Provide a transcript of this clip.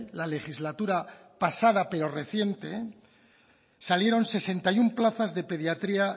la legislatura pasada pero reciente salieron sesenta y uno plazas de pediatría